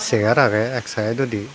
chegaar agey ek side odi.